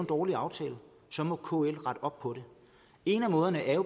dårlig aftale så må kl rette op på det en af måderne er